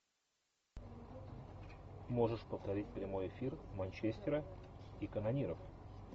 можешь повторить прямой эфир манчестера и канониров